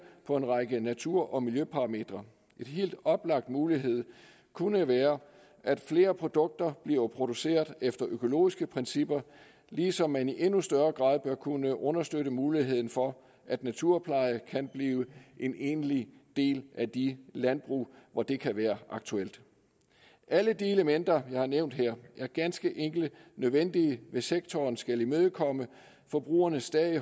på en række natur og miljøparametre en helt oplagt mulighed kunne være at flere produkter bliver produceret efter økologiske principper ligesom man i endnu større grad bør kunne understøtte muligheden for at naturpleje kan blive en egentlig del af de landbrug hvor det kan være aktuelt alle de elementer jeg har nævnt her er ganske enkelt nødvendige hvis sektoren skal imødekomme forbrugernes stadig